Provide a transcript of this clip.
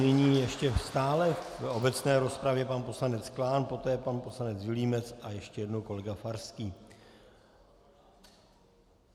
Nyní ještě stále v obecné rozpravě pan poslanec Klán, poté pan poslanec Vilímec a ještě jednou kolega Farský.